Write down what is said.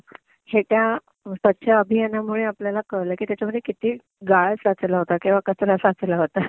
हे त्या स्वच्छ अभियानामुळे आपल्याला कळलं की त्याच्यामधे किती गाळ साचलं होता किंवा किती कचरा साचलं होता. ter